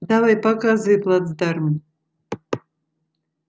давай показывай плацдарм